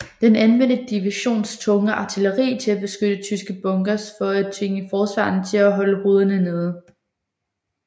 Den anvendte divisionens tunge artilleri til at beskyde tyske bunkers for at tvinge forsvarerne til at holde hovederne nede